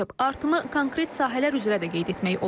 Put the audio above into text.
Artımı konkret sahələr üzrə də qeyd etmək olar.